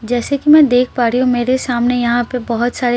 जैसे की मैं देख पा रही हूँ की मेरे सामने यहाँ पर बहुर सारे --